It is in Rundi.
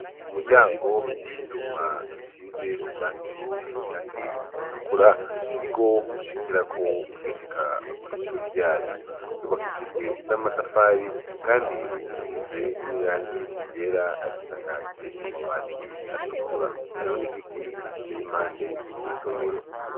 Umuryango wivyuma basize irangi ritukuru niryo ushirako ugishika kwishure ryacu ryubakishijwe namatafari kandi risize nirangi ryera risakaje amabati atakuru hariho nigiti giteye impande yiryosomero